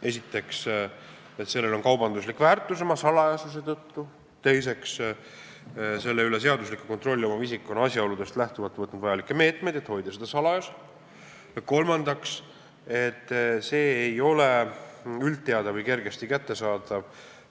Esiteks, sellel on kaubanduslik väärtus oma salajasuse tõttu, teiseks, selle üle seaduslikku kontrolli omav isik on asjaoludest lähtuvalt võtnud meetmeid, et hoida seda salajas, ja kolmandaks, see ei ole üldteada või kergesti kättesaadav